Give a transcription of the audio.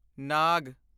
ਨਾਗ